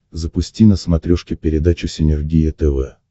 запусти на смотрешке передачу синергия тв